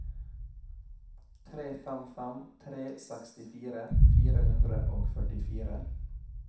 tre fem fem tre sekstifire fire hundre og førtifire